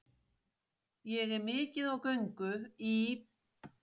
Ég er mikið á göngu í